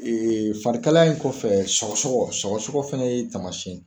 Ee farikalaya in kɔfɛ sɔgɔsɔgɔ sɔgɔsɔgɔ fana ye taamasiyɛn ye